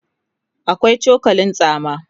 akwai cokalin tsama